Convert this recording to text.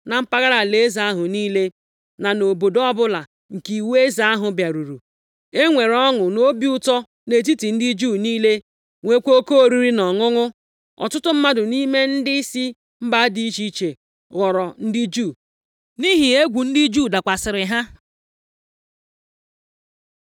Na mpaghara alaeze ahụ niile, na nʼobodo ọbụla nke iwu eze ahụ bịaruru, e nwere ọṅụ na obi ụtọ nʼetiti ndị Juu niile, nweekwa oke oriri na ọṅụṅụ. Ọtụtụ mmadụ nʼime ndị si mba dị iche iche ghọrọ ndị Juu, nʼihi egwu ndị Juu dakwasịrị ha.